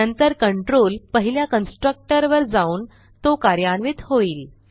नंतर कंट्रोल पहिल्या कन्स्ट्रक्टर वर जाऊन तो कार्यान्वित होईल